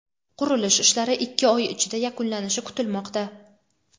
qurilish ishlari ikki oy ichida yakunlanishi kutilmoqda.